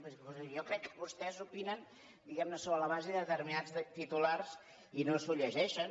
jo crec que vostès opinen diguem ne sobre la base de determinats titulars i no s’ho llegeixen